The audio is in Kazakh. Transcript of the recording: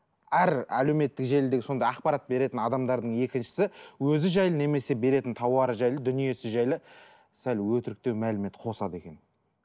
әр әлеуметтік желідегі сондай ақпарат беретін адамдардың екіншісі өзі жайлы немесе беретін тауары жайлы дүниесі жайлы сәл өтіріктеу мәлімет қосады екен